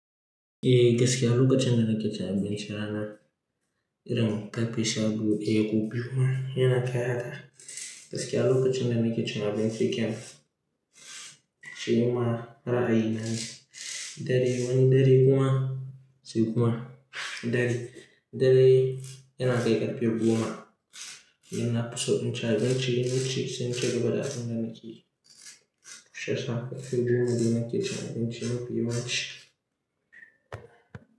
Eh gaskiya lokacin da nake cin abincin rana, irin karfe shabiyu, eh ku biyu ma yana kai haka. Gaskiya lokacin da nake cin abinci kenan, shi ni ma ra'ayi nane dare wani dare kuma sai kuma dare, dare yana kai ƙarfe goma. Yana fiso in ci abinci, in naci in wuce sai in ci gaba da abin da nake yi. Shi yasa ƙarfe goma dai nake cin abinci mafi yawanci.